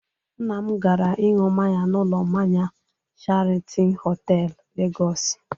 Nna m gara ịṅụ mmanya n'ụlọ mmanya Sheratọn Họtelụ, Legọsị.